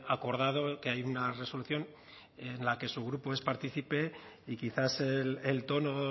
acordado que hay una resolución en la que su grupo es partícipe y quizás el tono